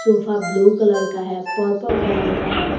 Sofa blue colour का है purple colour का है।